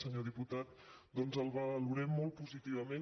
senyor diputat doncs el valorem molt positivament